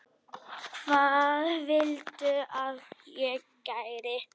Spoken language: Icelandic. Hvað viltu að ég geri?